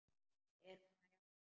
Er hún að jafna sig?